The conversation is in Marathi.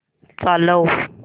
चालव